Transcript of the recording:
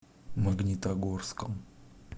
магнитогорском